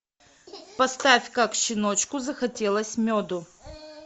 поставь как щеночку захотелось меду